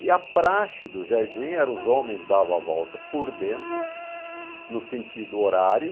E a praxe do jardim era os homens davam a volta por dentro, no sentido horário,